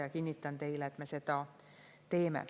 Ja kinnitan teile, et me seda teeme.